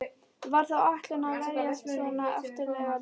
Var það áætlunin að verjast svona aftarlega í leiknum?